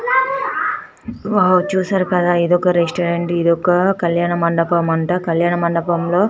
wow చూసారు కదా ఇదొక రెస్తౌరంత్ ఇదొక కళ్యాణ మండపం అంట కళ్యాణ మండపం లో